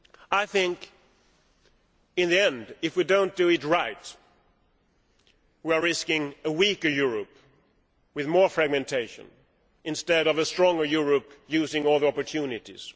I think in the end, if we do not do it right, we are risking a weaker Europe with more fragmentation, instead of a stronger Europe using all the opportunities.